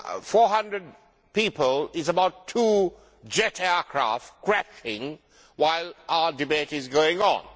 Four hundred people is about two jet aircraft crashing while our debate is going on.